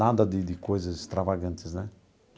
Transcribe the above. Nada de de coisas extravagantes, né?